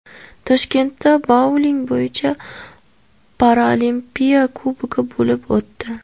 Toshkentda bouling bo‘yicha Paralimpiya Kubogi bo‘lib o‘tdi.